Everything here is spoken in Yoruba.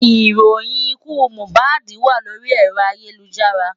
Ìròyìn ikú Mohbad wà lórí ẹ̀rọ ayélujára.